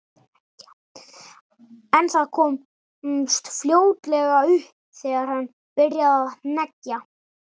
En það komst fljótlega upp þegar hann byrjaði að hneggja.